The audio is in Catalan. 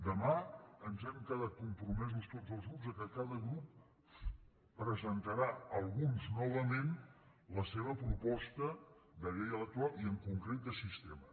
demà ens hem quedat compromesos tots els grups que cada grup presentarà alguns novament la seva proposta de llei electoral i en concret de sistema